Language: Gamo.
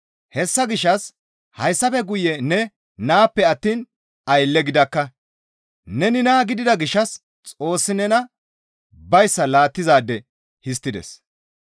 Hessa gishshas hayssafe guye ne naappe attiin aylle gidakka; neni naa gidida gishshas Xoossi nena bayssa laattizaade histtides.